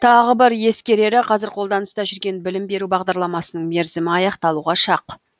тағы бір ескерері қазір қолданыста жүрген білім беру бағдарламасының мерзімі аяқталуға шақ